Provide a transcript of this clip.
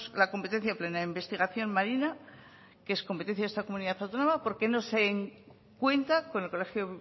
la competencia plena de investigación marina que es competencia de esta comunidad autónoma por qué no se cuenta con el colegio